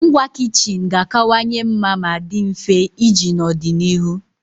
Ngwa kichin ga-akawanye mma ma dị mfe iji n'ọdịnihu